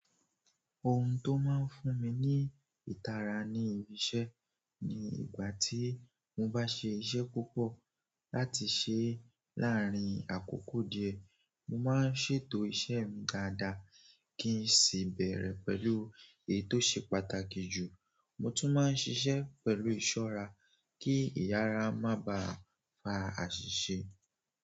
Ohun tó máa ń fún mi ní ìtara ní ibi iṣẹ́ ni ìgbà tí mo bá ṣe iṣẹ́ púpọ̀ láti ṣe láàárín àkókò díẹ̀. Mo máa ń ṣètò iṣẹ́ mi dáadáa kí n sì bẹ̀rẹ̀ pẹ̀lú èyí tó ṣe pàtàkì jù. Mo tún máa ń ṣiṣẹ́ pẹ̀lú ìṣọ́ra kí ìyára má bà fa àṣìṣe.